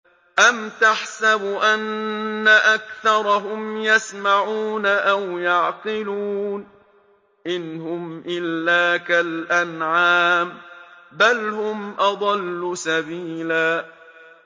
أَمْ تَحْسَبُ أَنَّ أَكْثَرَهُمْ يَسْمَعُونَ أَوْ يَعْقِلُونَ ۚ إِنْ هُمْ إِلَّا كَالْأَنْعَامِ ۖ بَلْ هُمْ أَضَلُّ سَبِيلًا